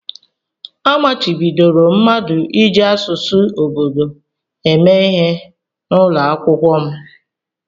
A machibidoro mmadụ iji asụsụ obodo eme ihe n'ụlọ akwụkwọ m.